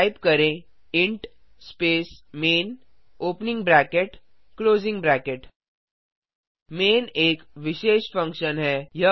type करें int space main opening bracket closing bracket main एक विशेष फंक्शन फंक्शन है